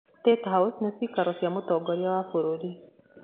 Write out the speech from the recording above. State House nĩ ciikaro cia mũtongoria wa bũrũri.